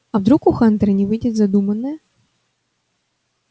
а вдруг у хантера не выйдет задуманное